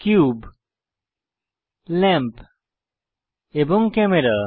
cube lamp এবং camera